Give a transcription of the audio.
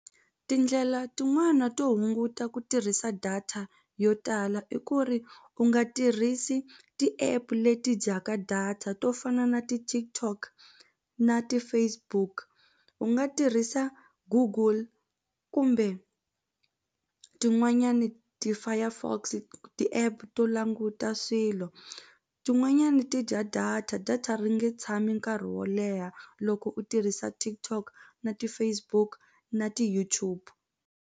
Tindlela tin'wana to hunguta ku tirhisa data yo tala i ku ri u nga tirhisi ti-app leti dyaka data to fana na ti-TikTok na ti-Facebook u nga tirhisa Google kumbe tin'wanyani ti-Firefox ti-app to languta swilo tin'wanyani ti dya data data ri nge tshami nkarhi wo leha loko u tirhisa TikTok na ti-Facebook na ti-YouTube.